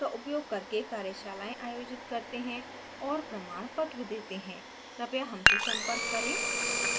हम spoken tutorials का उपयोग करके कार्यशालाएं आयोजित करते हैं और प्रमाण पत्र देते है कृपया हमसे संपर्क करें